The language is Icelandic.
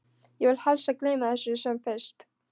Ég vil helst gleyma þessu sem fyrst.